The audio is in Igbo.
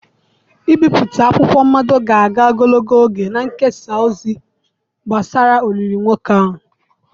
Ibipụta akwụkwọ mmado ga-aga ogologo oge na-ekesa ozi gbasara olili nwoke ahụ.